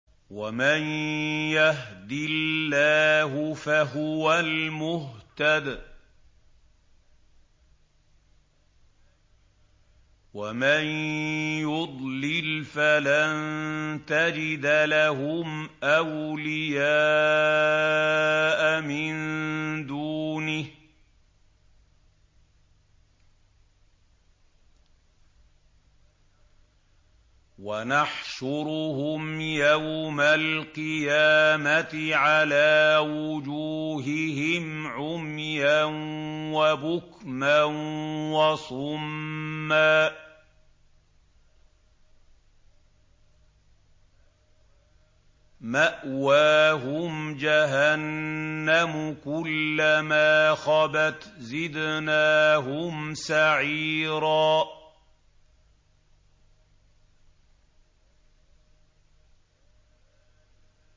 وَمَن يَهْدِ اللَّهُ فَهُوَ الْمُهْتَدِ ۖ وَمَن يُضْلِلْ فَلَن تَجِدَ لَهُمْ أَوْلِيَاءَ مِن دُونِهِ ۖ وَنَحْشُرُهُمْ يَوْمَ الْقِيَامَةِ عَلَىٰ وُجُوهِهِمْ عُمْيًا وَبُكْمًا وَصُمًّا ۖ مَّأْوَاهُمْ جَهَنَّمُ ۖ كُلَّمَا خَبَتْ زِدْنَاهُمْ سَعِيرًا